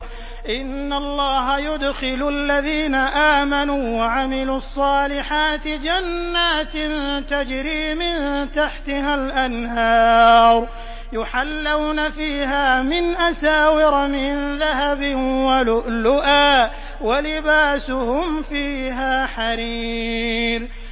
إِنَّ اللَّهَ يُدْخِلُ الَّذِينَ آمَنُوا وَعَمِلُوا الصَّالِحَاتِ جَنَّاتٍ تَجْرِي مِن تَحْتِهَا الْأَنْهَارُ يُحَلَّوْنَ فِيهَا مِنْ أَسَاوِرَ مِن ذَهَبٍ وَلُؤْلُؤًا ۖ وَلِبَاسُهُمْ فِيهَا حَرِيرٌ